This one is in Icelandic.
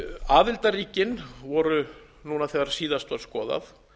aðildarríkin voru núna þegar síðast var skoðað